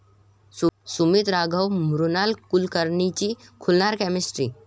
सुमित राघवन आणि मृणाल कुलकर्णीची खुलणार केमिस्ट्री